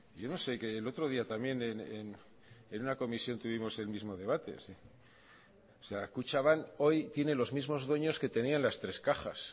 yo no sé que el otro día también en una comisión tuvimos el mismo debate o sea kutxabank hoy tiene los mismos dueños que tenían las tres cajas